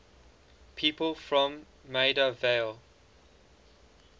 people from maida vale